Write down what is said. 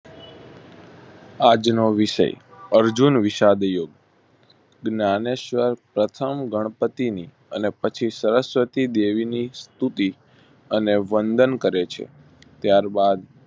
આજનો વિષય અર્જુનવિષાદ યુદ્ધ જ્ઞાનએસવર પ્રથમ ગણપતિ ની અને પછી સરસ્વતી દેવી ની સ્તુતિ અને વંદન કરે છે. ત્યાર બાદ